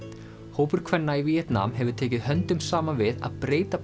hópur kvenna í Víetnam hefur tekið höndum saman við að breyta